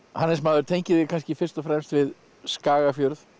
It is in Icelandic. Hannes maður tengir þig kannski fyrst og fremst við Skagafjörð